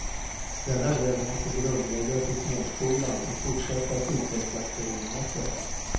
Denna bredd måste grundläggas i småskolan och fortsätta att utvecklas på gymnasiet.